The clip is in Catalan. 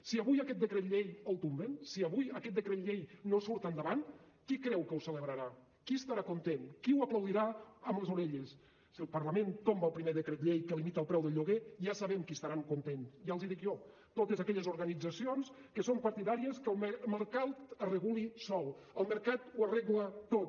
si avui aquest decret llei el tomben si avui aquest decret llei no surt endavant qui creu que ho celebrarà qui estarà content qui ho aplaudirà amb les orelles si el parlament tomba el primer decret llei que limita el preu del lloguer ja sabem qui estarà content ja els hi dic jo totes aquelles organitzacions que són partidàries que el mercat es reguli sol que el mercat ho arregla tot